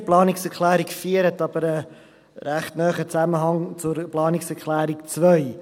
Die Planungserklärung 4 hat aber einen recht nahen Zusammenhang zur Planungserklärung 2.